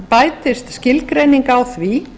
bætist skilgreining á því